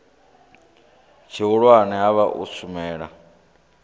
tshihulwane ha vha u shumela